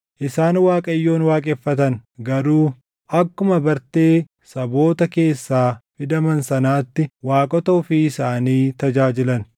Isaan Waaqayyoon waaqeffatan; garuu akkuma bartee saboota keessaa fidaman sanaatti waaqota ofii isaanii tajaajilan.